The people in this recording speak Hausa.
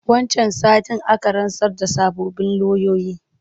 Wancan satin aka rantsar da sababbin loyoyi.